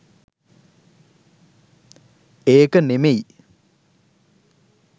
ඒක නෙමෙයි.